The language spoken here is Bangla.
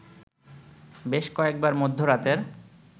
বেশ কয়েকবার মধ্যরাতের